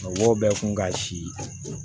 Mɔgɔw bɛ kun ka si